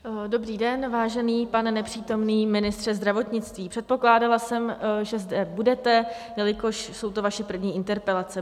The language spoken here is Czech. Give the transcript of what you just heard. Dobrý den, vážený pane nepřítomný ministře zdravotnictví, předpokládala jsem, že zde budete, jelikož jsou to vaše první interpelace.